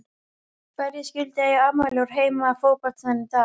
Hverjir skyldu eiga afmæli úr heimi fótboltans í dag?